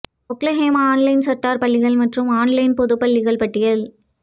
Oklahoma online charter பள்ளிகள் மற்றும் online பொது பள்ளிகள் பட்டியல்